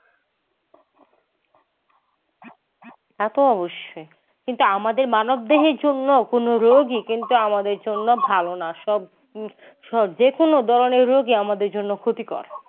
তাতো অবশ্যই। কিন্তু আমাদের মানব দেহের জন্যে অপূর্ণ রোগই কিন্তু আমাদের জন্যে ভালো না সব সব যেকোনো ধরনের রোগই আমাদের জন্যে ক্ষতিকর।